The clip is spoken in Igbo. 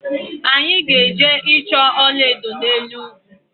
Anyi ga-eje choo ola edo n'elu ugwu